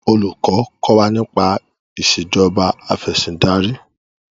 Olùkọ́ kọ́ wa nípa Ìṣèjọba Afẹ̀sìndarí